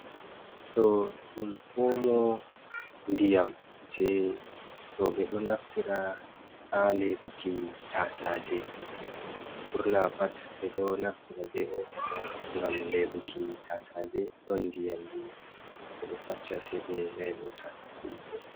Ɗo ɗum omo ndiyam je rowɓe ɗo naftira ha leɓuki tasaje burna pat ɓe ɗo naftira be omo ɗo ngam leɓuki tasaje don diyam gi bedo fassa seɓe leba ɓe mai.